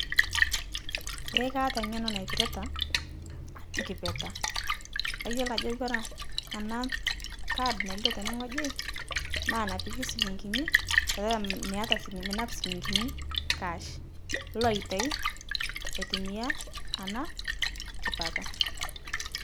Ee kaata ng'eno naipirita ana kipeta, kayolo ajo kore ana kaad naailio tene ng'oji naa napiki silinkini petaa meata sii minap silinkini cash ilo aiatai aitumia ana kipeta.